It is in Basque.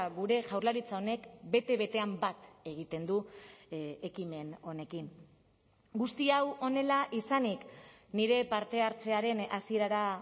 gure jaurlaritza honek bete betean bat egiten du ekimen honekin guzti hau honela izanik nire parte hartzearen hasierara